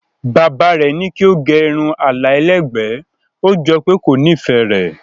Bàbá rẹ̀ ní kí ó gẹ irun àlà ẹlẹ́gbẹ̀ẹ́, ó jọ pé kò nífẹ̀ẹ́ rẹ̀.